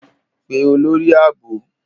Pe olori aabo!